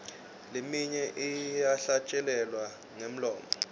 leminye iyahlatjelelwa ngemlomo